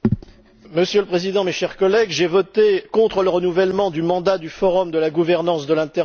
Monsieur le Président, chers collègues, j'ai voté contre le renouvellement du mandat du Forum de la gouvernance de l'internet.